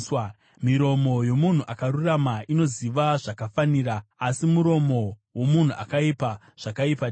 Miromo yomunhu akarurama inoziva zvakafanira, asi muromo womunhu akaipa, zvakaipa chete.